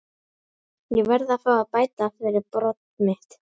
Ég verð að fá að bæta fyrir brot mitt.